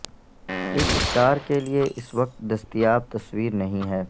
اس star کے لئے اس وقت دستیاب تصویر نہیں ہے